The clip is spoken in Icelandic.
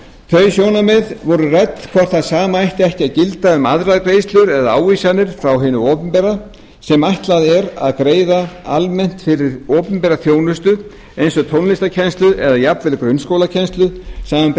þau sjónarmið voru rædd hvort það sama ætti ekki að gilda um aðrar greiðslur eða ávísanir frá hinu opinbera sem ætlað er að greiða almennt fyrir opinbera þjónustu eins og tónlistarkennslu eða jafnvel grunnskólakennslu samanber